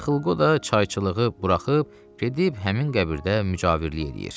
Yıxılqo da çayçılığı buraxıb gedib həmin qəbirdə mücavirlik eləyir.